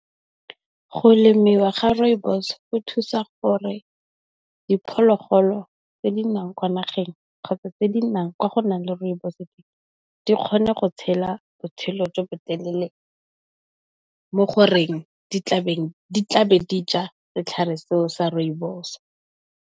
Go lemiwa ga Rooibos go thusa gore di phologolo tse di nnang kwa nageng, kgotsa tse di nnang kwa go nang le Rooibos teng, di kgone go tshela botshelo jo bo telele mo goreng di tla be di tla be di ja setlhare seo sa Rooibos.